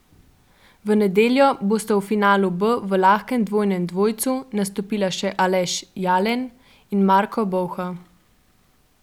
V nedeljo bosta v finalu B v lahkem dvojnem dvojcu nastopila še Aleš Jalen in Marko Bolha.